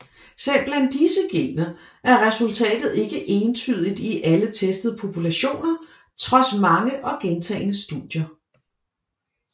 Selv blandt disse gener er resultatet ikke entydigt i alle testede populationer trods mange og gentagne studier